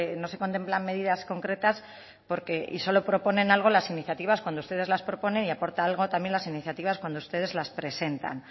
no se contemplan medidas concretas porque y solo proponen algo las iniciativas cuando ustedes las proponen y aportan algo también las iniciativas cuando ustedes las presentan